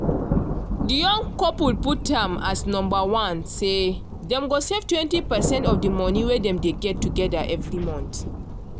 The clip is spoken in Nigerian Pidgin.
de young couple put am as number one say dem go save 20 percent of de monie wey dem dey get together every month.